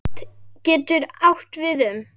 Slot getur átt við um